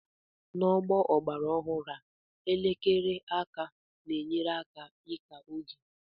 n'ọgbọ ọgbara ọhụrụ a, elekere aka na-enyere aka ịka oge